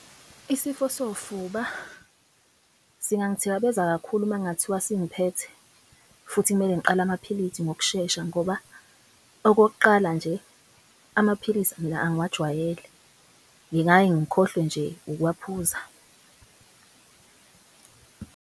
Isifo sofuba singangithikabeza kakhulu makungathiwa sengiphethe futhi kumele ngiqale amaphilisi ngokushesha. Ngoba okokuqala nje amaphilisi mina angiwajwayele ngingaye ngikhohlwe nje ukuwaphuza.